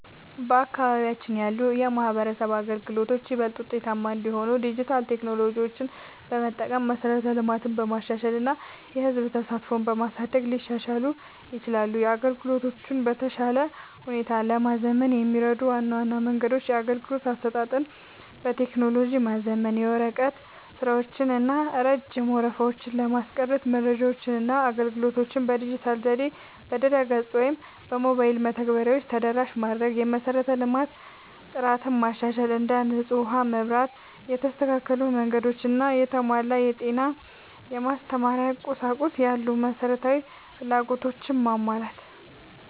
በአካባቢያችን ያሉ የማህበረሰብ አገልግሎቶች ይበልጥ ውጤታማ እንዲሆኑ ዲጂታል ቴክኖሎጂዎችን በመጠቀም፣ መሠረተ ልማትን በማሻሻል እና የህዝብ ተሳትፎን በማሳደግ ሊሻሻሉ ይችላሉ። አገልግሎቶቹን በተሻለ ሁኔታ ለማዘመን የሚረዱ ዋና ዋና መንገዶች - የአገልግሎት አሰጣጥን በቴክኖሎጂ ማዘመን፦ የወረቀት ስራዎችን እና ረጅም ወረፋዎችን ለማስቀረት መረጃዎችንና አገልግሎቶችን በዲጂታል ዘዴዎች (በድረ-ገጽ ወይም በሞባይል መተግበሪያዎች) ተደራሽ ማድረግ። የመሠረተ ልማት ጥራትን ማሻሻል፦ እንደ ንጹህ ውሃ፣ መብራት፣ የተስተካከሉ መንገዶች እና የተሟላ የጤና/የማስተማሪያ ቁሳቁስ ያሉ መሠረታዊ ፍላጎቶችን ማሟላት።